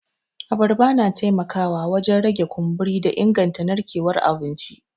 Abarba na taimakawa wajen rage kumburi da inganta narkewar abinci.